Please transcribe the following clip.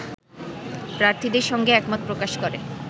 প্রার্থীদের সঙ্গে একমত প্রকাশ করে